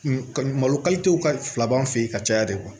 Malo kalitew ka fila b'an fɛ yen ka caya de